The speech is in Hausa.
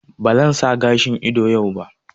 Ba zan sa gashin ido yau ba